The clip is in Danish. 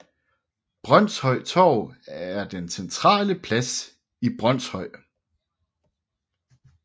Brønshøj Torv er den centrale plads i Brønshøj